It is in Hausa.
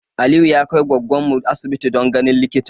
Aliyu ya kai goggon mu asibiti don ganin likita